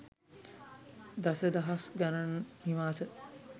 දස දහස් ගණන් නිවාස